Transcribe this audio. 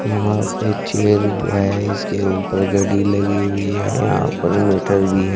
यहां पे चेयर है इसके ऊपर घड़ी लगी हुई है यहां पर मीटर भी है।